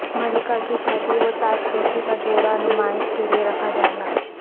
ملکہ کی شادی و تاج پوشی کا جوڑا نمائش کے لیے رکھا جائے گا